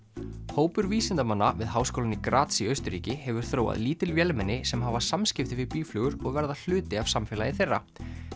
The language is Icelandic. hópur vísindamanna við háskólann í Graz í Austurríki hefur þróað lítil vélmenni sem hafa samskipti við býflugur og verða hluti af samfélagi þeirra